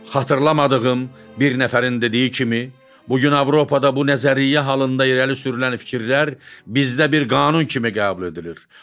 Xatırlamadığım bir nəfərin dediyi kimi, bu gün Avropada bu nəzəriyyə halında irəli sürülən fikirlər bizdə bir qanun kimi qəbul edilir.